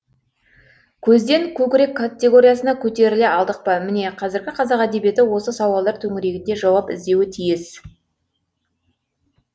көзден көкірек категориясына көтеріле алдық па міне қазіргі қазақ әдебиеті осы сауалдар төңірегінде жауап іздеуі тиіс